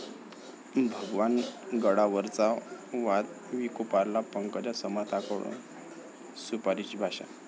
भगवान गडावरचा वाद विकोपाला, पंकजा समर्थकांकडून 'सुपारी'ची भाषा